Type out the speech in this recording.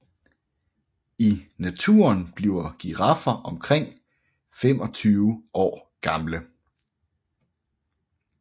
I naturen bliver giraffer omkring 25 år gamle